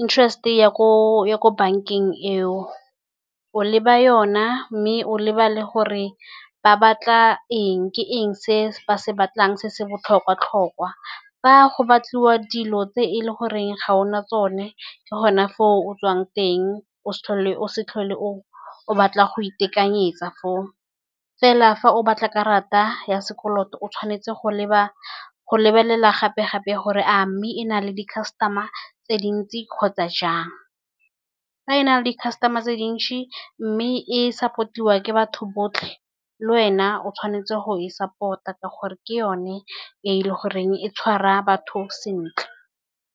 interest-e, ya ko bank-eng eo o leba yone, mme o leba le gore ba batla eng. Ke eng se ba se batlang se se botlhokwa-tlhokwa, Fa go batliwa dilo tse e leng gore ga o na tsone, ke gone foo o tswang teng o se tlhole o batla go itekanyetsa. Foo fela, fa o batla karata ya sekoloto o tshwanetse go leba, go lebelela gape-gape gore a mme e na le di-customer-a tse dintsi kgotsa jang. Fa e na le customer-a tse dintsi mme e support-iwa ke batho botlhe, le wena o tshwanetse go e support-a ka gore ke yone e e leng gore e tshwara batho sentle.